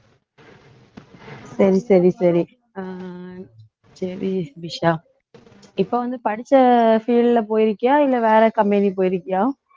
சரி சரி சரி அஹ் சரி இப்ப வந்து படிச்ச field ல போயிருக்கியா இல்ல வேற company போயிருக்கியா